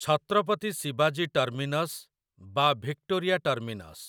ଛତ୍ରପତି ଶିବାଜୀ ଟର୍ମିନସ୍ ବା Victoria terminus